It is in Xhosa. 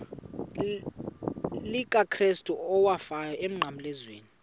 likakrestu owafayo emnqamlezweni